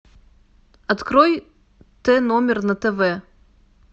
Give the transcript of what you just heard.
открой т номер на тв